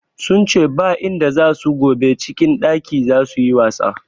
Sun ce ba inda za su gobe, cikin ɗaki za su yi wasa.